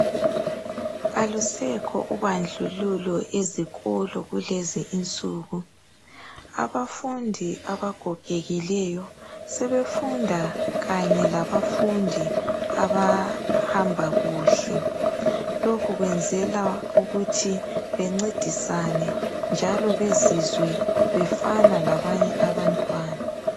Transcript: Alusekho ubandlululo ezikolo kulezi insuku. Abafundi abagogekileyo sebefunda kanye labafundi abahamba kuhle. Lokhu kwenzela ukuthi bencedisane njalo bezizwe befana labanye abantwana.